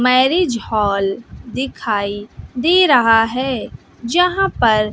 marriage hall दिखाई दे रहा है जहां पर--